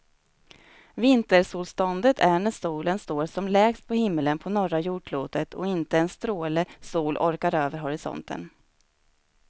Vintersolståndet är när solen står som lägst på himlen på norra jordklotet och inte en stråle sol orkar över horisonten.